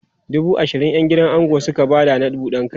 dubu ashirin ƴan gidan ango Suka Bada na buɗan kai